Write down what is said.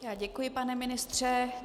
Děkuji, pane ministře.